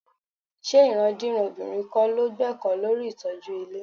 Ṣé ìrandíran obìnrin kọ́ ló gbẹ́kọ̀ọ́ lórí ìtọ́jú ilé?